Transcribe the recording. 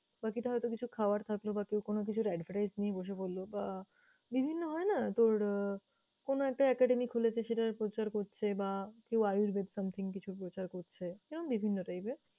বাকিটা হয়তো কিছু খাওয়ার থাকলো বা কেউ কোনো কিছুর advertise নিয়ে বসে পরলো বা আহ বিভিন্ন হয়না তোর আহ কোনো একটা academy খুলেছে সেটার প্রচার করছে বা কেউ আয়ুর্বেদ something কিছু প্রচার করছে এরম বিভিন্ন type এর।